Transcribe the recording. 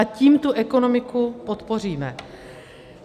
A tím tu ekonomiku podpoříme.